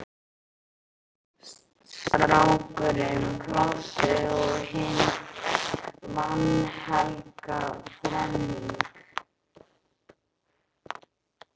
Strákurinn, Plássið og hin vanhelga þrenning